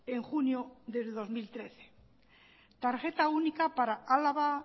en junio de dos mil trece tarjeta única para álava